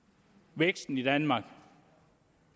væksten i danmark